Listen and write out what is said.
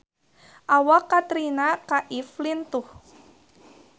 Awak Katrina Kaif lintuh